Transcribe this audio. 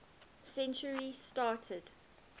century started